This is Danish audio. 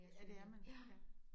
Ja det er man ja